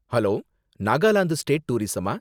Hello! Nagaland state டூரிஸமா?